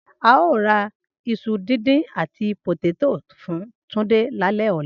Ao ra iṣu dindin ati poteto fun Tunde lalẹ ọla